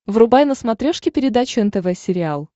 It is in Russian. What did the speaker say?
врубай на смотрешке передачу нтв сериал